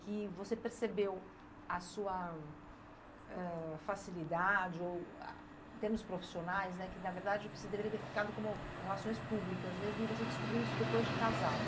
que você percebeu a sua, ãh, facilidade ou, em termos profissionais, né, que na verdade o que você deveria ter ficado como relações públicas mesmo e você descobriu isso depois de casada.